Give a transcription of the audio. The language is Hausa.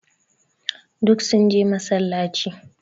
Duk sun je massalaci.